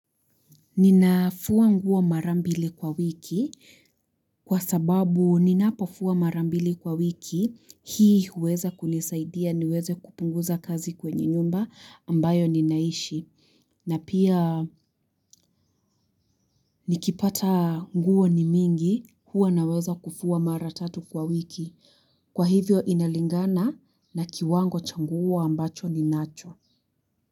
Ninafua nguo mara mbili kwa wiki kwa sababu ninapofua marambili kwa wiki hii huweza kunisaidia niweze kupunguza kazi kwenye nyumba ambayo ninaishi. Na pia nikipata nguo ni mingi huwa naweza kufua mara tatu kwa wiki. Kwa hivyo inalingana na kiwango cha nguo ambacho ninacho.